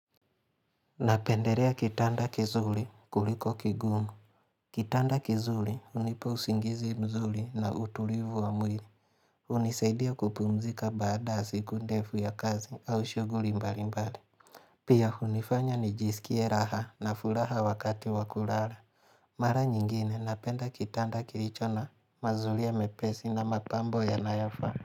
Napenderea kitanda kizuri kuliko kingumu Kitanda kizuli hunipa usingizi mzuli na utulivu wa mwili hunisaidia kupumzika baada siku ndefu ya kazi au shughuli mbali mbali Pia hunifanya nijisikie raha na furaha wakati wa kurara Mara nyingine napenda kitanda kiricho na mazulia mepesi na mapambo yanayo faa.